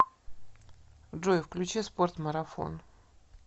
джой включи спорт марафон